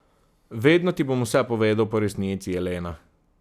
Vedno ti bom vse povedal po resnici, Elena.